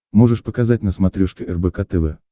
можешь показать на смотрешке рбк тв